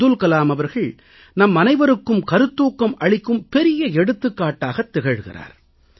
அப்துல் கலாம் அவர்கள் நம்மனைவருக்கும் கருத்தூக்கம் அளிக்கும் பெரிய எடுத்துக்காட்டாக திகழ்கிறார்